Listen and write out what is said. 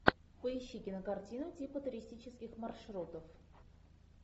поищи кинокартину типа туристических маршрутов